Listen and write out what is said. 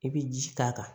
I bɛ ji k'a kan